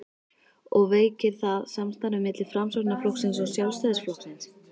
og veikir það samstarfið milli Framsóknarflokksins og Sjálfstæðisflokksins?